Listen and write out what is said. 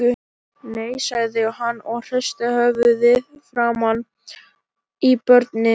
Nei, sagði hann og hristi höfuðið framan í börnin.